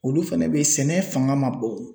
Olu fɛnɛ beyi sɛnɛ fanga ma bon.